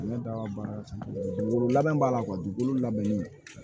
Ne da baara labɛn b'a la dugukolo labɛnnen